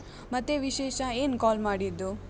ಮತ್ತೆ ವಿಶೇಷ? ಏನ್ call ಮಾಡಿದ್ದು?